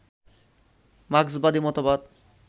মার্ক্সবাদী মতবাদ